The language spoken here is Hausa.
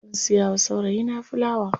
Zan siya wa saurayi na filawa.